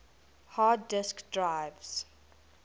hard disk drives